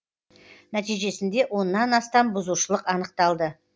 нәтижесінде оннан астам бұзушылық анықталды